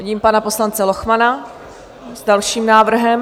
Vidím pana poslance Lochmana s dalším návrhem.